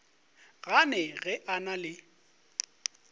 gane ge o na le